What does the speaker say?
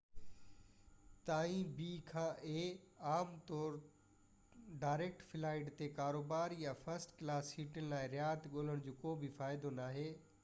عام ڳالهه طور a کان b تائين ڊائريڪٽ فلائيٽ تي ڪاروبار يا فرسٽ ڪلاس سيٽن لاءِ رعايت ڳولڻ جو ڪو به فائدو ناهي